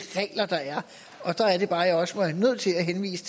regler der er og der er det bare jeg også er nødt til at henvise